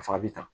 A fa bɛ tan